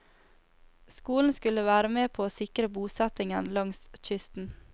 Skolen skulle være med på å sikre bosettingen langs kysten.